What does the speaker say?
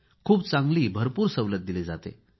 खूप चांगली भरपूर सवलत दिली जाते